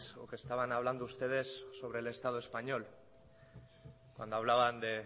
o que estaban hablando ustedes sobre el estado español cuando hablaban de